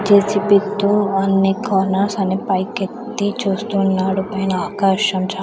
తీర్చి పెట్టు అన్ని కార్నర్స్ అని పైకెత్తి చూస్తున్నాడు పైన ఆకాశం చా--